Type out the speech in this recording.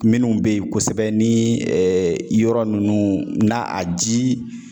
Minnu be yen kosɛbɛ ni yɔrɔ nunnu na a ji